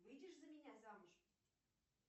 выйдешь за меня замуж